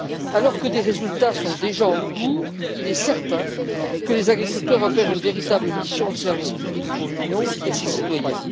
Alors que des résultats sont déjà en cours, il est certain que les agriculteurs opèrent une véritable mission de service public pour l'Union et ses citoyens.